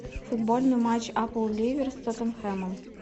футбольный матч апл ливер с тоттенхэмом